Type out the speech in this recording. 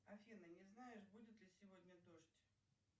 афина не знаешь будет ли сегодня дождь